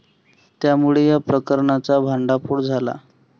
त्यामुळे या प्रकरणाचा भांडाफोड झाला.